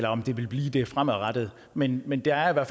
om det vil blive det fremadrettet men men der er